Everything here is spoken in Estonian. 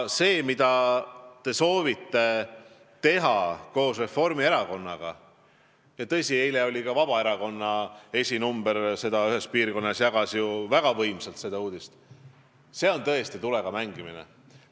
See, mida teie ja Reformierakond soovite teha – ja eile jagas ka Vabaerakonna esinumber ühes piirkonnas väga energiliselt seda uudist –, on tõesti tulega mängimine.